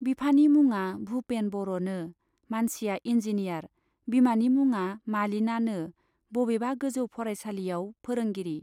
बिफानि मुङा भुपेन बर'नो मानसिया इन्जिनियार, बिमानि मुङा मालिनानो बबेबा गोजौ फरायसालियाव फोरोंगिरि।